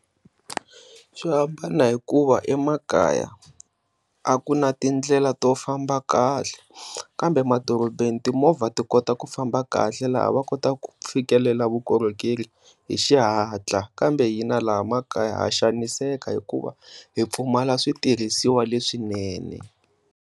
Swihambana hikuva emakaya a ku na tindlela to famba kahle kambe emadorobeni timovha ti kota ku famba kahle laha va kotaka ku fikelela vukorhokeri hi xihatla, kambe hina laha emakaya ha xaniseka hikuva hi pfumala switirhisiwa leswinene.